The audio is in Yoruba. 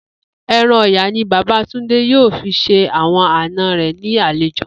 E̩ran ò̩yà ni bàbá Túndé yóò fi s̩e àwo̩n àna rè̩ ní àlejò